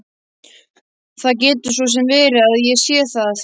Það getur svo sem verið að ég sé það.